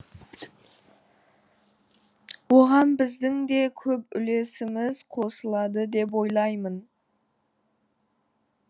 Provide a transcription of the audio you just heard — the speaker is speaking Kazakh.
оған біздің де көп үлесіміз қосылады деп ойлаймын